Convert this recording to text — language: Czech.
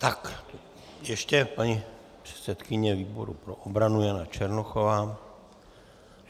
Tak, ještě paní předsedkyně výboru pro obranu Jana Černochová.